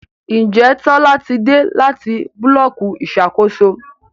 Njé Tola tí dé láti Búlọ̀kì Ìṣàkóso?